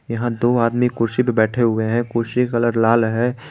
यहां दो आदमी कुर्सी पर बैठे हुए हैं कुर्सी का कलर लाल है।